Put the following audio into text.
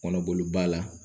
Kɔnɔboloba la